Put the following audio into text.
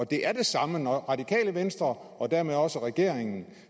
det er det samme når det radikale venstre og dermed også regeringen